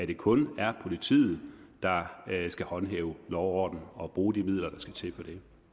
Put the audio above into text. det kun er politiet der skal håndhæve lov og orden og bruge de midler der skal til for